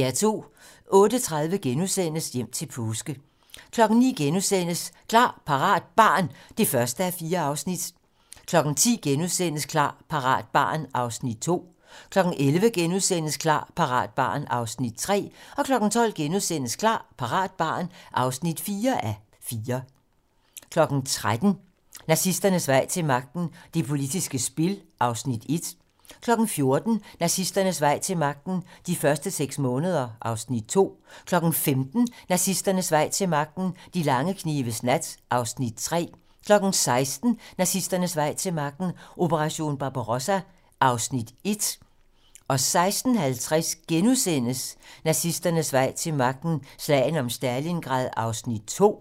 08:30: Hjem til påske * 09:00: Klar, parat - barn (1:4)* 10:00: Klar, parat - barn (2:4)* 11:00: Klar, parat - barn (3:4)* 12:00: Klar, parat - barn (4:4)* 13:00: Nazisternes vej til magten: Det politiske spil (Afs. 1) 14:00: Nazisternes vej til magten: De første seks måneder (Afs. 2) 15:00: Nazisternes vej til magten: De lange knives nat (Afs. 3) 16:00: Nazisternes vej til magten: Operation Barbarossa (Afs. 1) 16:50: Nazisternes vej til magten: Slaget om Stalingrad (Afs. 2)*